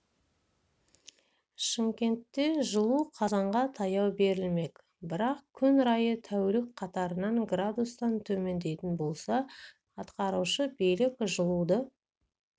шымкентке жылу қазанға таяу берілмек бірақ күн райы тәулік қатарынан градустан төмендейтін болса атқарушы билік жылуды